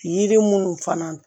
Yiri munnu fana